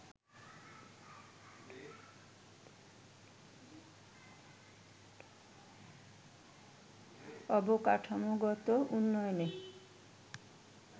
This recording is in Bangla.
অবকাঠামোগত উন্নয়নে